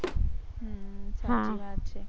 હમ સાચી વાત છે